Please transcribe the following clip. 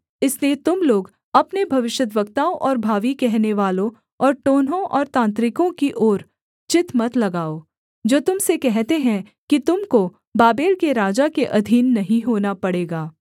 इसलिए तुम लोग अपने भविष्यद्वक्ताओं और भावी कहनेवालों और टोनहों और तांत्रिकों की ओर चित्त मत लगाओ जो तुम से कहते हैं कि तुम को बाबेल के राजा के अधीन नहीं होना पड़ेगा